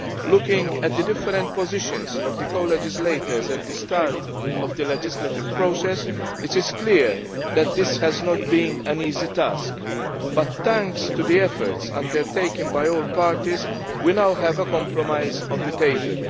Looking at the different positions of the co legislators at the start of the legislative process, it is clear that this has not been an easy task, but thanks to the efforts undertaken by all parties, we now have a compromise on the table.